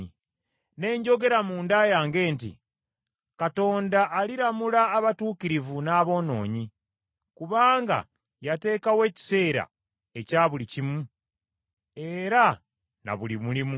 Ne njogera munda yange nti, “Katonda aliramula abatuukirivu n’aboonoonyi; kubanga yateekawo ekiseera ekya buli kimu; era na buli mulimu.”